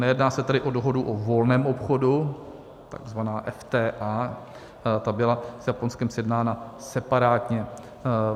Nejedná se tedy o dohodu o volném obchodu, takzvaná EFTA, ta byla s Japonskem sjednána separátně.